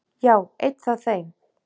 Já, einn af þeim